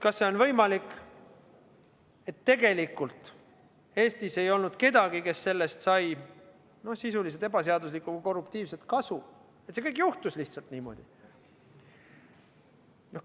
Kas on võimalik, et ka tegelikult Eestis ei olnud kedagi, kes oleks sellest saanud sisuliselt ebaseaduslikku või korruptiivset kasu, ja et see kõik lihtsalt juhtus niimoodi?